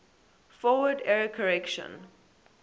forward error correction